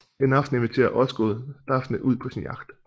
En aften inviterer Osgood Daphne ud på sin yacht